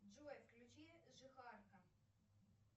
джой включи жихарка